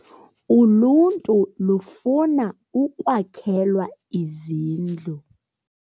Uluntu lufuna ukwakhelwa izindlu